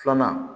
Filanan